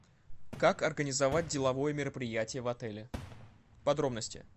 как организовать деловое мероприятие в отеле подробности